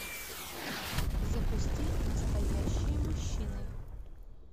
запусти настоящие мужчины